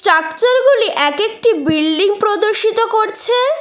চাকচারগুলি এক একটি বিল্ডিং প্রদর্শিত করছে।